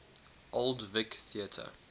old vic theatre